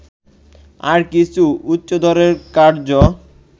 আর কিছু উচ্চদরের কার্য্য